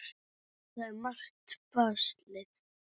Það er margt baslið.